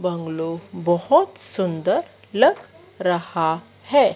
Bungalow बोहोत सुंदर लग रहा है।